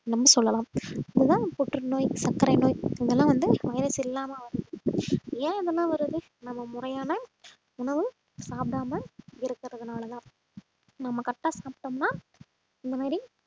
நம்ம சொல்லலாம் இதுதான் புற்றுநோய் சர்க்கரை நோய் இதெல்லாம் வந்து virus இல்லாம ஏன் இதெல்லாம் வருது நம்ம முறையான உணவு சாப்பிடாமல் இருக்கிறதுனாலதான் நாம correct ஆ சாப்பிட்டோம்னா இந்த மாதிரி